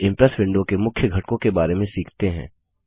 अब Impress window के मुख्य घटकों के बारे में सीखते हैं